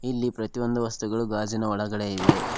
ಇಲ್ಲಿ ಪ್ರತಿಯೊಂದು ವಸ್ತುಗಳು ಗಾಜಿನ ಒಳಗಡೆ ಇವೆ.